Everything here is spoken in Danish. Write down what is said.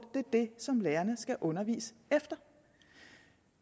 er det som lærerne skal undervise efter